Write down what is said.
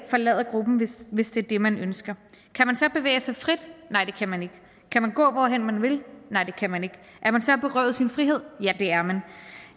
forlade gruppen hvis hvis det er det man ønsker kan man så bevæge sig frit nej det kan man ikke kan man gå hvorhen man vil nej det kan man ikke er man så berøvet sin frihed